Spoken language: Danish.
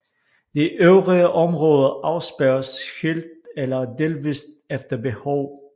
De øvrige områder afspærres helt eller delvist efter behov